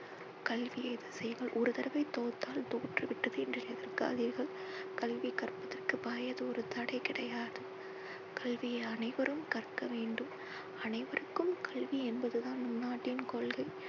கல்வியை ஒரு தடவை தோற்றால் தோற்று விடுவேன் என்று எதிர்காதீர்கள். கல்வி கற்பதர்க்கு வயது ஒரு தடை கிடையாது. கல்வியை அனைவரும் கற்க வேண்டும். அனைவருக்கும் கல்வி என்பது தான் நம் நாட்டின் கொள்கை.